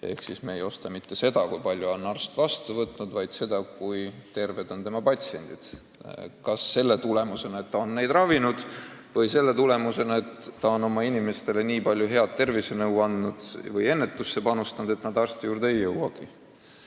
Ehk siis me ei maksa mitte selle eest, et arst on nii ja nii mitu inimest vastu võtnud, vaid selle eest, et ta on oma patsiente ravinud või inimestele nii palju head tervisenõu andnud või ennetusse panustanud, et paljud tema nimekirja inimesed arsti juurde ei jõuagi.